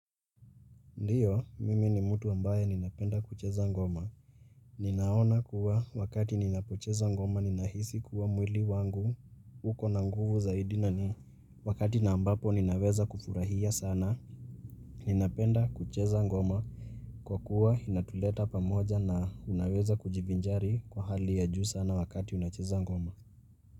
Ndiyo, mimi ni mtu ambaye ninapenda kucheza ngoma. Ninaona kuwa wakati ninapocheza ngoma ninahisi kuwa mwili wangu uko na nguvu zaidi na ni. Wakati na ambapo ninaweza kufurahia sana, ninapenda kucheza ngoma. Kwa kuwa inatuleta pamoja na unaweza kuji vinjari kwa hali ya juu sana wakati unacheza ngoma.